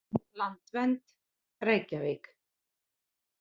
Landvernd, Reykjavík.